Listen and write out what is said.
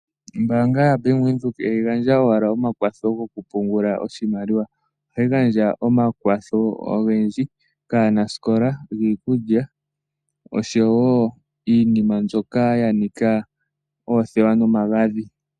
Ombaanga yaBank Windhoek ihayi gandja owala omakwatho gokupungula oshimaliwa ihe ohayi gandja omakwatho ogendji kaanasikola giikulya osho wo iinima mbyoka ya nika oothewa nomagadhi.